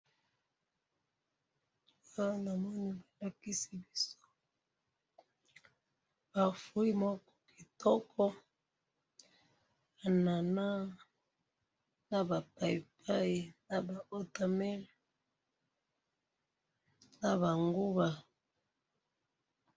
Awa namoni balakisi biso ba fruit moko kitoko; Anana, naba payipayi naba wota melone naba nguba.